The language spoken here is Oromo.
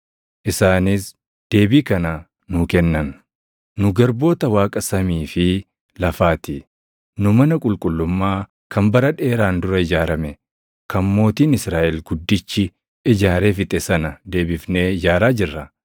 Isaanis deebii kana nuu kennan: “Nu garboota Waaqa samii fi lafaa ti; nu mana qulqullummaa kan bara dheeraan dura ijaarame, kan mootiin Israaʼel guddichi ijaaree fixe sana deebifnee ijaaraa jirra.